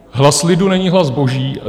Hlas lidu není hlas boží.